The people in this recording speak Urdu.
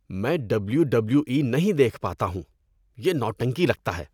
میں ڈبلیو ڈبلیو ای نہیں دیکھ پاتا ہوں۔ یہ نوٹنکی لگتا ہے۔